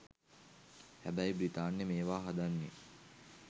හැබැයි බ්‍රිතාන්‍ය මේවා හදන්නෙ